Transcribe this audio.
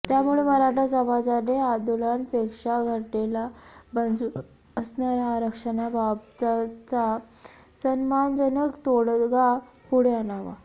त्यामुळे मराठा समाजाने आंदोलनांपेक्षा घटनेला मंजूर असणारा आरक्षणाबाबतचा सन्मानजनक तोडगा पुढे आणावा